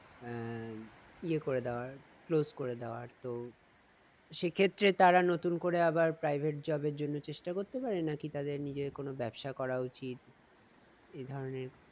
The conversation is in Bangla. আহ ইয়ে করে দেওয়ার close করে দেওয়ার তো সেক্ষেত্রে তারা নতুন করে আবার private job এর জন্য চেষ্টা করতে পারে নাকি তাদের নিজের কোনো ব্যাবসা করা উচিত? এইধরনের